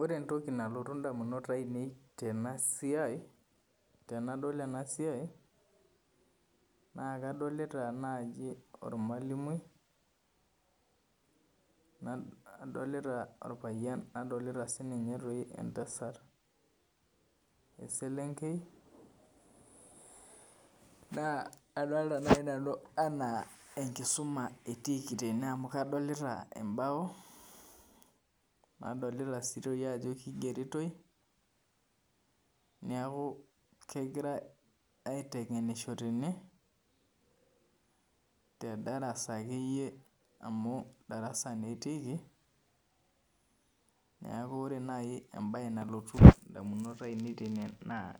Ore ntoki nalotu ndamunot ainei tenasiai tenadol enasiai na kadolita nai ormalimui nadolita orpayian nadolita sininye ntasat, eselenkei na kadolta nai nanu ana enkisuma etiiki tene amu kadolta embao nadolta si ajo kigeritoi neaku kegirai aitengenisjo tene amu darasa na etiiki neaku nai embae nalotu ndamunot tene na